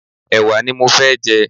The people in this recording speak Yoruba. Ẹwà ní mọ fẹ́ jẹ.